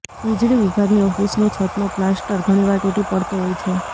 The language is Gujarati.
વીજળી વિભાગની ઓફિસની છતનો પ્લાસ્ટર ઘણીવાર તૂટી પડતો હોય છે